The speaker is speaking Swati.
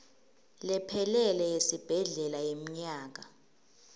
lephelele yesibhedlela yemnyaka